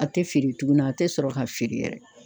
A tɛ feere tuguni, . a tɛ sɔrɔ ka feere yɛrɛ